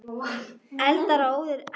Eldar og óðir vindar- enn um hamfarir